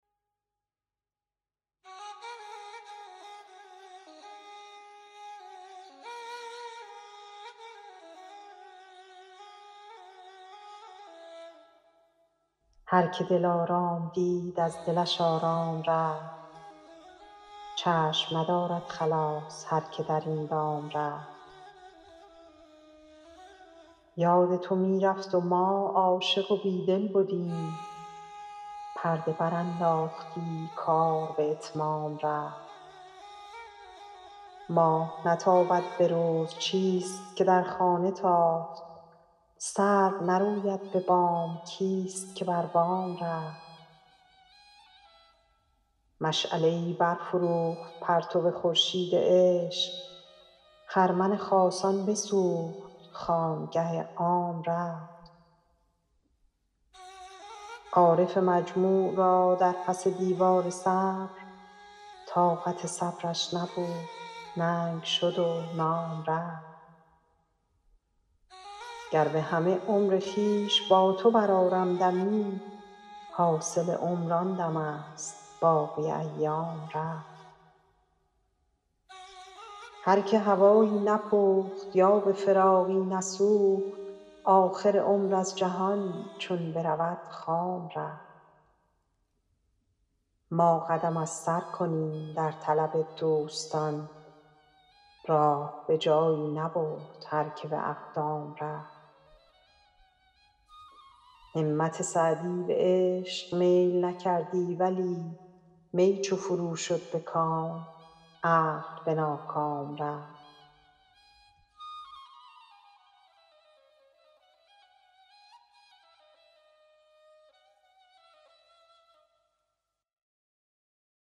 هر که دلارام دید از دلش آرام رفت چشم ندارد خلاص هر که در این دام رفت یاد تو می رفت و ما عاشق و بیدل بدیم پرده برانداختی کار به اتمام رفت ماه نتابد به روز چیست که در خانه تافت سرو نروید به بام کیست که بر بام رفت مشعله ای برفروخت پرتو خورشید عشق خرمن خاصان بسوخت خانگه عام رفت عارف مجموع را در پس دیوار صبر طاقت صبرش نبود ننگ شد و نام رفت گر به همه عمر خویش با تو برآرم دمی حاصل عمر آن دمست باقی ایام رفت هر که هوایی نپخت یا به فراقی نسوخت آخر عمر از جهان چون برود خام رفت ما قدم از سر کنیم در طلب دوستان راه به جایی نبرد هر که به اقدام رفت همت سعدی به عشق میل نکردی ولی می چو فرو شد به کام عقل به ناکام رفت